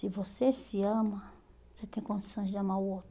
Se você se ama, você tem condições de amar o